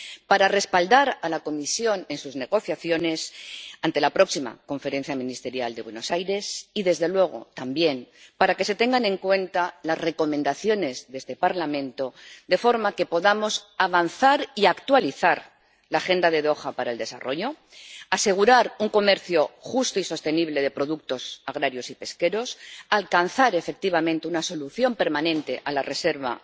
Para respaldar a la Comisión en sus negociaciones ante la próxima conferencia ministerial de Buenos Aires y desde luego, también, para que se tengan en cuenta las recomendaciones de este Parlamento, de forma que podamos avanzar y actualizar la agenda de Doha para el desarrollo, asegurar un comercio justo y sostenible de productos agrarios y pesqueros, alcanzar efectivamente una solución permanente para la reserva